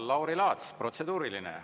Lauri Laats, protseduuriline.